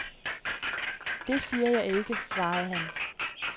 Det siger jeg ikke, svarede han.